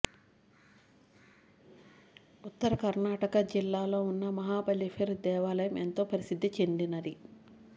ఉత్తర కర్ణాటక జిల్లాలో ఉన్న మహాబలేశ్వర దేవాలయం ఎంతో ప్రసిద్ధి చెందినది